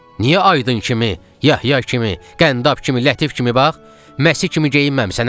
Niyə Aydın kimi, Yahya kimi, Qəndab kimi, Lətif kimi, bax, Məsi kimi geyinməmisən, hə?